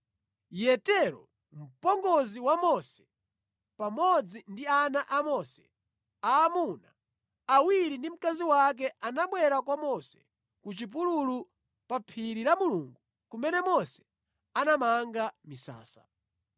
Yetero, mpongozi wa Mose pamodzi ndi ana a Mose aamuna awiri ndi mkazi wake anabwera kwa Mose ku chipululu pa phiri la Mulungu kumene Mose anamanga misasa.